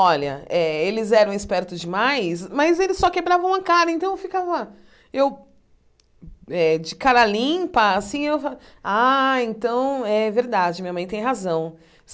Olha, eh eles eram espertos demais, mas eles só quebravam uma cara, então eu ficava, eu eh, de cara limpa, assim, eu fa, ah, então é verdade, minha mãe tem razão.